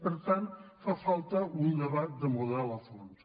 per tant fa falta un debat de model a fons